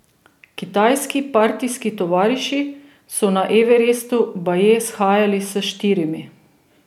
Kitajski partijski tovariši so na Everestu baje shajali s štirimi.